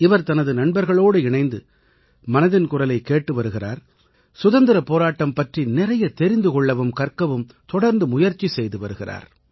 இவர் தனது நண்பர்களோடு இணைந்து மனதின் குரலைக் கேட்டு வருகிறார் சுதந்திரப் போராட்டம் பற்றி நிறைய தெரிந்து கொள்ளவும் கற்கவும் தொடர்ந்து முயற்சி செய்து வருகிறார்